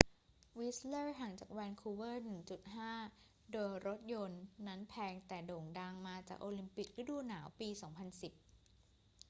วิสต์เลอร์ ห่างจากแวนคูเวอร์ 1.5 โดยรถยนต์ นั้นแพง แต่โด่งดังมาจากโอลิมปิกฤดูหนาวปี 2010